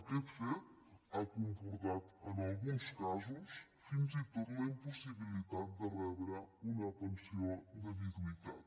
aquest fet ha comportat en alguns casos fins i tot la impossibilitat de rebre una pensió de viduïtat